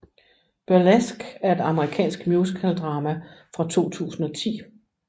Burlesque er et amerikansk musikaldrama fra 2010